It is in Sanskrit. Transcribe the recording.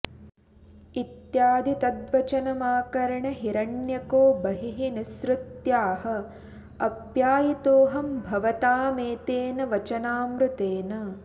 इत्यादि तद्वचनमाकर्ण्य हिरण्यको बहिः निःसृत्याह आप्यायितोऽहं भवतामेतेन वचनामृतेन